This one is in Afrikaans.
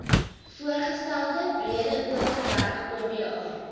voorgestelde breedeoverberg oba